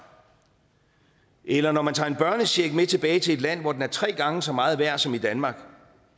eller når man tager en børnecheck med tilbage til et land hvor den er tre gange så meget værd som i danmark